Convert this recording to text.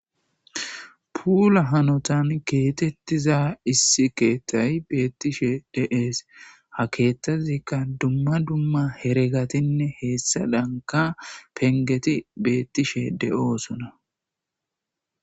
Pula hanotan kexetiza issi ketay betishe de'es ha kethazika duma duma heragatine hesadanka pengeti betishe do'osona.